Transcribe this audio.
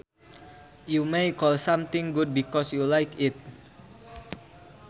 You may call something good because you like it